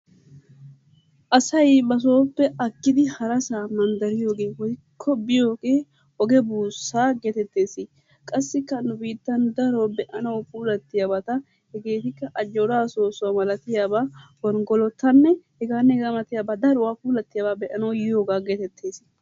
Assayi ba soppee agiddi haraassa mandariyoggee woyko biyoogee ogee bussaa getteetessi, qassikkaa nu bittanni daro pulattiyabbattaa hegettikaa, ajjoraa sosuwaa malattiyattanne gongolottaanne heganne hegaa malattiyaaba daruwaa pullatiyaba be'anawu yiyogaa getettess.